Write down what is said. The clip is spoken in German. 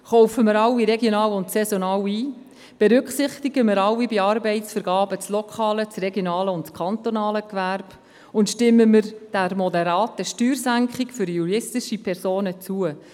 Kaufen wir alle regional und saisonal ein, berücksichtigen wir alle bei Arbeitsvergaben das lokale, regionale und kantonale Gewerbe, und stimmen wir der moderaten Steuersenkung für juristische Personen zu.